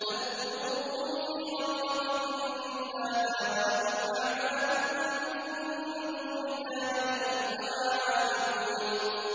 بَلْ قُلُوبُهُمْ فِي غَمْرَةٍ مِّنْ هَٰذَا وَلَهُمْ أَعْمَالٌ مِّن دُونِ ذَٰلِكَ هُمْ لَهَا عَامِلُونَ